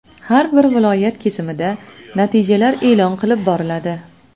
Har bir viloyat kesimida natijalar e’lon qilib boriladi.